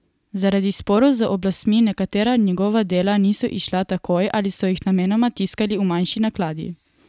Zaradi sporov z oblastmi nekatera njegova dela niso izšla takoj ali so jih namenoma tiskali v manjši nakladi.